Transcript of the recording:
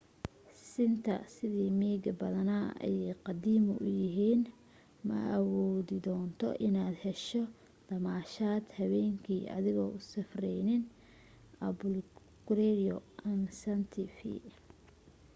siinta sida miiga badanaa ay qadiimi u yahiin ma awoodi doonto in aad hesho damaashad habeen kii adigoo u safreyn albuquerque ama santa fe